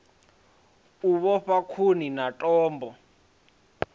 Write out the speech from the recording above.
u vhofha khuni na thambo